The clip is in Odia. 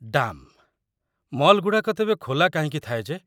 ଡାମ୍! ମଲ୍‌ଗୁଡ଼ାକ ତେବେ ଖୋଲା କାହିଁକି ଥାଏ ଯେ?